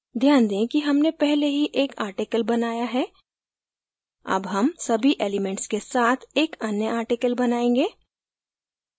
ध्यान दें कि हमने पहले ही एक article बनाया है अब हम सभी elements के साथ एक अन्य article बनायेंगे